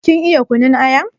Kin iya kunun aya?